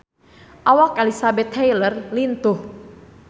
Awak Elizabeth Taylor lintuh